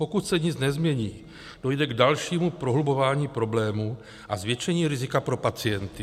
Pokud se nic nezmění, dojde k dalšímu prohlubování problémů a zvětšení rizika pro pacienty.